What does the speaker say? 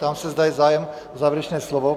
Ptám se, zda je zájem o závěrečné slovo.